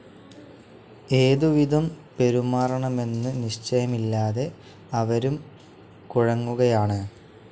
ഏതുവിധം പെരുമാറണമെന്നു നിശ്ചയമില്ലാതെ അവരും കുഴങ്ങുകയാണ്.